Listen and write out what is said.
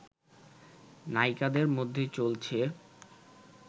নায়িকাদের মধ্যে চলছে